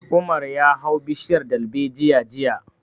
Umar ya hau bishiyar dalbejiya jiya